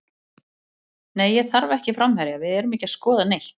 Nei ég þarf ekki framherja, við erum ekki að skoða neitt.